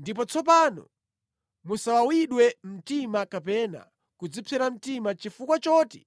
Ndipo tsopano, musawawidwe mtima kapena kudzipsera mtima chifukwa choti